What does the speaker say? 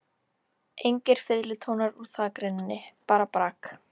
Engir fiðlutónar úr þakrennunni, bara brak.